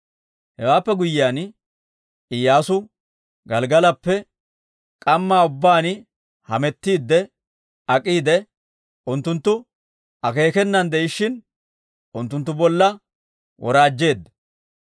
Hewaappe guyyiyaan Iyyaasu Gelggalappe k'amma ubbaan hamettiidde ak'iide, unttunttu akeekenan de'ishshin unttunttu bolla woraajjeedda.